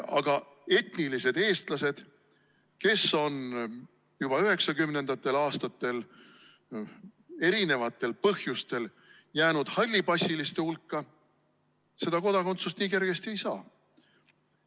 Aga etnilised eestlased, kes on juba 1990. aastatel erisugustel põhjustel jäänud hallipassiliste hulka, seda kodakondsust nii kergesti ei saa.